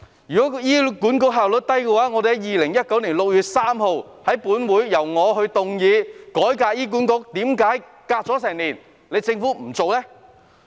如果是醫管局效率低的話，我曾在2019年6月5日於本會動議一項改革醫管局的議案，為何政府隔了一年也不願意做呢？